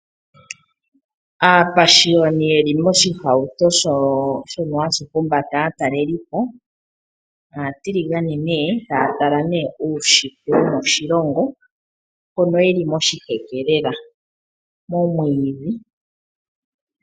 Aapashiwani yeli moshihauto shono hashi humbata aatalelipo, aatiligane ne taya tala ne uushitwe wo moshilongo mono yeli moshiheke lela, momwiidhi.